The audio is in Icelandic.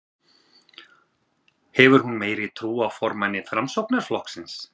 Hefur hún meiri trú á formanni Framsóknarflokksins?